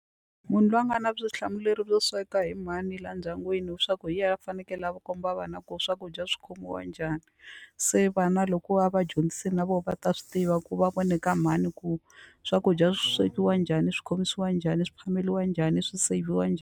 Munhu loyi a nga na vutihlamuleri byo sweka hi mhani laha ndyangwini leswaku hi yena a fanekele a va komba vana ku swakudya swi khomiwa njhani se vana loko a va vadyondzisi na vona va ta swi tiva ku va vone ka mhani ku swakudya swi swekiwa njhani swi khomisiwa njhani swi phameriwa njhani swi seyivhiwa njhani.